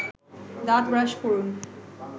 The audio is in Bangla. দাঁত ব্রাশ করুন